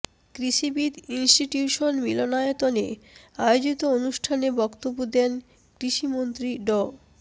কৃষিবিদ ইনস্টিটিউশন মিলনায়তনে আয়োজিত অনুষ্ঠানে বক্তব্য দেন কৃষিমন্ত্রী ড